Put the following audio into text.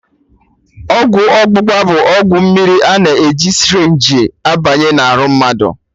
Ọgwụ ọgbụgba bụ ọgwụ mmiri a na-eji sịrịnjii abanye na arụ mmadụ